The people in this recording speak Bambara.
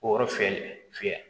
O yɔrɔ fiyɛli fiyɛ